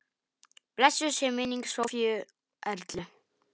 Blessuð sé minning Sofíu Erlu.